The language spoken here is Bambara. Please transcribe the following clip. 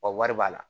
Wa wari b'a la